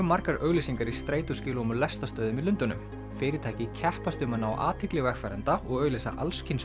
margar auglýsingar í strætóskýlum og lestarstöðvum í Lundúnum fyrirtæki keppast um að ná athygli vegfarenda og auglýsa